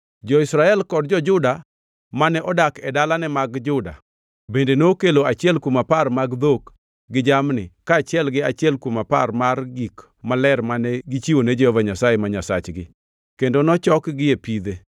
Jo-Israel kod jo-Juda mane odak e dalane mag Juda bende nokelo achiel kuom apar mag dhok gi jamni kaachiel gi achiel kuom apar mar gik maler mane gichiwone Jehova Nyasaye, ma Nyasachgi kendo nochokgi e pidhe.